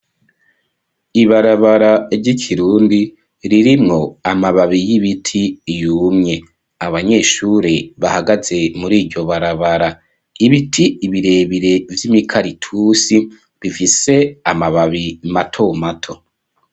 Ibarabara, ry'ikirundi, ririmwo, amababi y'ibiti yumye ,Abanyeshuri bahagaze muri iryo barabara, Ibiti birebire vy'Imikaritusi bifise Amababi mato mato.